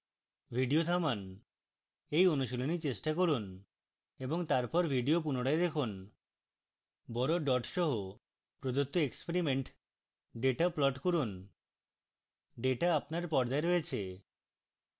video থামান এই অনুশীলনী চেষ্টা করুন এবং তারপর video পুনরায় দেখুন